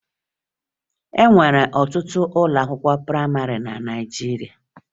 E nwere ọtụtụ ụlọakwụkwọ prayịmarị na Naịjirịa